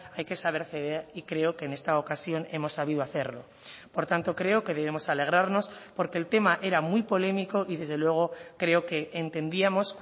hay que saber ceder y creo que en esta ocasión hemos sabido hacerlo por tanto creo que debemos alegrarnos porque el tema era muy polémico y desde luego creo que entendíamos